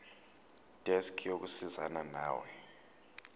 desk yokusizana nawe